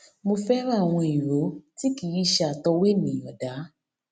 mo fẹràn àwọn ìró tí kì í ṣe àtọwọ ènìyàn dá